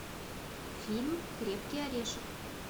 фильм крепкий орешек